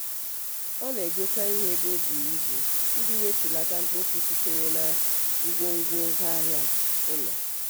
ọ na-egote ihe ebe o buru ibu iji wetulatatụ mkpofu sitere na ngwongwo ngwaahịa ụlọ.